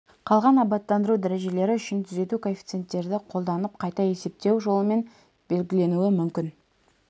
қалған абаттандыру дәрежелері үшін түзету коэффициенттерді қолданып қайта есептеу жолымен белгіленуі мүмкін